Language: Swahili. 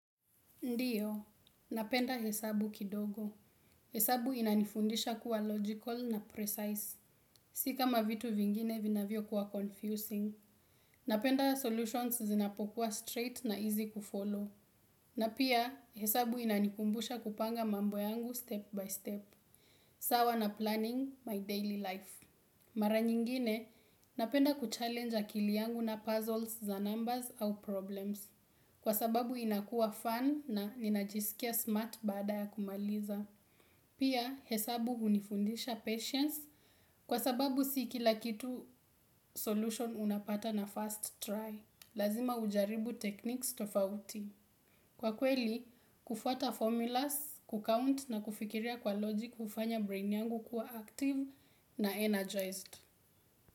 Ndiyo, napenda hesabu kidogo. Hesabu inanifundisha kuwa logical na precise. Si kama vitu vingine vinavyokuwa confusing. Napenda solutions zinapokuwa straight na easy kufollow. Na pia, hesabu inanikumbusha kupanga mambo yangu step by step. Sawa na planning my daily life. Mara nyingine, napenda kuchallenge akili yangu na puzzles za numbers au problems. Kwa sababu inakua fun na ninajisikia smart baada ya kumaliza. Pia hesabu hunifunfisha patience kwa sababu si kila kitu solutions unapata na first try. Lazima ujaribu techniques tofauti. Kwa kweli, kufuata formulas, kucount na kufikiria kwa logic hufanya brain yangu kuwa active na energized.